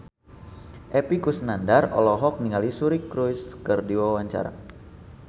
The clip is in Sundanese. Epy Kusnandar olohok ningali Suri Cruise keur diwawancara